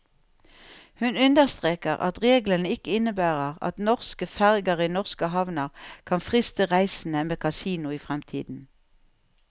Hun understreker at reglene ikke innebærer at norske ferger i norske havner kan friste reisende med kasino i fremtiden.